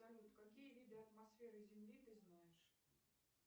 салют какие виды атмосферы земли ты знаешь